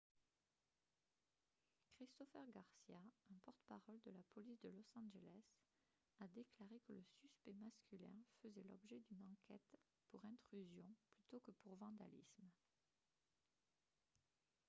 christopher garcia un porte-parole de la police de los angeles a déclaré que le suspect masculin faisait l'objet d'une enquête pour intrusion plutôt que pour vandalisme